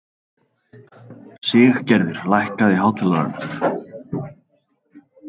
Siggerður, lækkaðu í hátalaranum.